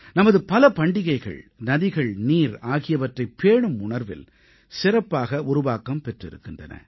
நமது பல பண்டிகைகள் நதிகள் நீர் ஆகியவற்றைப் பேணும் உணர்வில் சிறப்பாக உருவாக்கம் பெற்றிருக்கின்றன